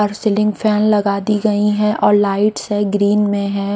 और ceiling fan लगा दी गई है और लाइट्स हैँ ग्रीन मे हैं।